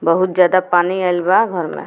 बहुत ज्यादा पानी आइल बा घर में।